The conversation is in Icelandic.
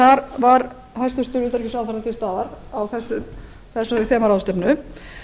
þar var hæstvirtur utanríkisráðherra til staðar á þessari þemaráðstefnu